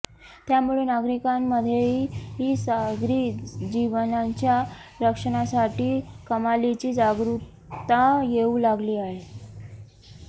त्यामुळे नागरिकांमध्येही सागरी जीवांच्या रक्षणासाठी कमालीची जागरुकता येऊ लागली आहे